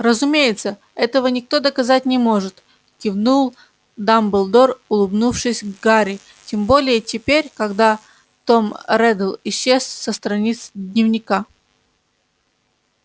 разумеется этого никто доказать не может кивнул дамблдор улыбнувшись гарри тем более теперь когда том реддл исчез со страниц дневника